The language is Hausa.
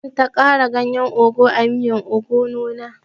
Baɗi zan ta kara ganyen ogu a miyan obono na